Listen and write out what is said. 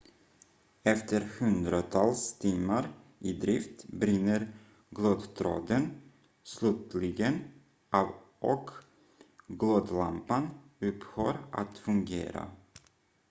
efter hundratals timmar i drift brinner glödtråden slutligen av och glödlampan upphör att fungera